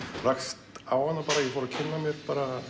rakst á hana bara og fór að kynna mér